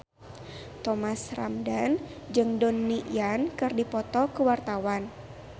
Thomas Ramdhan jeung Donnie Yan keur dipoto ku wartawan